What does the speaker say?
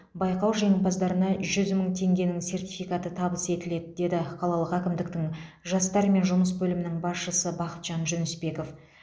байқау жеңімпаздарына жүз мың теңгенің сертификаты табыс етіледі деді қалалық әкімдіктің жастармен жұмыс бөлімінің басшысы бақытжан жүнісбеков